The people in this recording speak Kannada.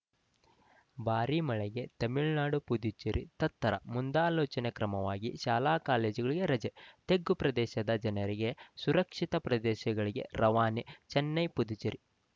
ಭಾರೀ ಮಳೆಗೆ ತಮಿಳುನಾಡು ಪುದುಚೇರಿ ತತ್ತರ ಮುಂದಾಲೋಚನಾ ಕ್ರಮವಾಗಿ ಶಾಲಾಕಾಲೇಜುಗಳಿಗೆ ರಜೆ ತಗ್ಗು ಪ್ರದೇಶದ ಜನರಿಗೆ ಸುರಕ್ಷಿತ ಪ್ರದೇಶಗಳಿಗೆ ರವಾನೆ ಚೆನ್ನೈ ಪುದುಚೇರಿ